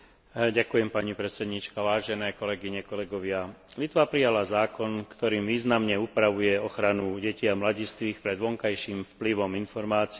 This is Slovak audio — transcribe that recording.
Litva prijala zákon, ktorým významne upravuje ochranu detí a mladistvých pred vonkajším vplyvom informácií, ktoré môžu závažne poznačiť ich ďalší vývin.